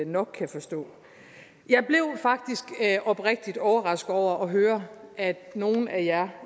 nok kan forstå jeg blev faktisk oprigtig overrasket over at høre at nogle af jer